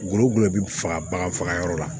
Gulɔ gulɔ bɛ faga baga fagayɔrɔ la